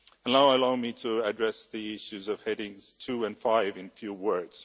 Now allow me to address the issues of headings 2 and 5 in a few words.